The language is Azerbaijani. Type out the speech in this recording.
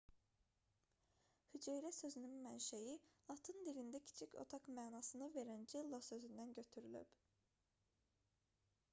hüceyrə sözünün mənşəyi latın dilində kiçik otaq mənasını verən cella sözündən götürülüb